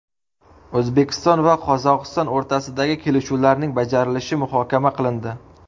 O‘zbekiston va Qozog‘iston o‘rtasidagi kelishuvlarning bajarilishi muhokama qilindi.